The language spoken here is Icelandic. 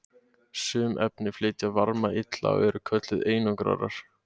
Sum efni flytja varma illa og eru kölluð einangrarar.